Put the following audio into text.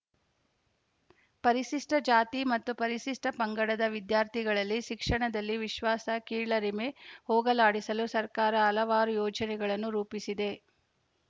ಪರಿಶಿಷ್ಟಜಾತಿ ಮತ್ತು ಪರಿಶಿಷ್ಟಪಂಗಡದ ವಿದ್ಯಾರ್ಥಿಗಳಲ್ಲಿ ಶಿಕ್ಷಣದಲ್ಲಿ ವಿಶ್ವಾಸ ಕೀಳರಿಮೆ ಹೋಗಲಾಡಿಸಲು ಸರ್ಕಾರ ಹಲವಾರು ಯೋಜನೆಗಳನ್ನು ರೂಪಿಸಿದೆ